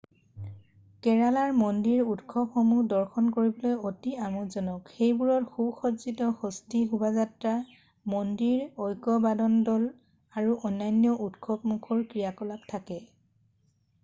কেৰালাৰ মন্দিৰ উৎসৱসমূহ দৰ্শন কৰিবলৈ অতি আমোদজনক সেইবোৰত সুসজ্জিত হস্তী শোভাযাত্ৰা মন্দিৰ ঐকবাদনদল আৰু অন্যান্য উৎসৱমুখৰ ক্ৰিয়াকলাপ থাকে